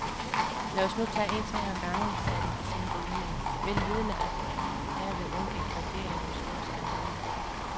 Lad os nu tage en ting ad gangen, sagde den besindige yngling, vel vidende, at derved undgik regeringen den store skandale.